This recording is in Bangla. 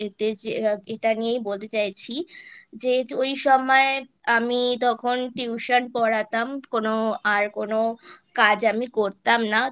এতে যে এটা নিয়েই বলতে চাইছি যেহেতু এই সময়ে আমি তখন Tuition পড়াতাম কোনো আর কোনো কাজ আমি করতাম না